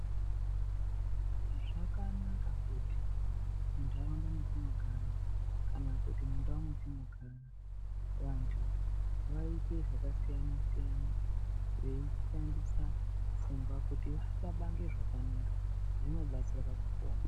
Zvakanaka kuti muntaraunda matinogara kana kuti mundau metinogara. Vantu vaite zvakasiyana-siyana veishandisa pfungwa kuti vashabange zvakanaka zvinobatsira pakupona.